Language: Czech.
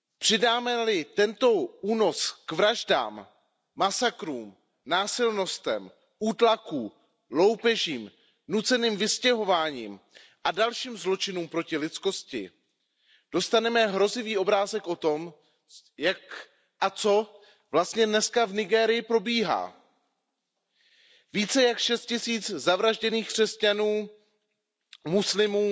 Přidáme li tento únos k vraždám, masakrům, násilnostem, útlaku, loupežím, nuceným vystěhováním a dalším zločinům proti lidskosti, dostaneme hrozivý obrázek o tom, jak a co vlastně dnes v Nigérii probíhá. Více jak 6 tisíc zavražděných křesťanů, muslimů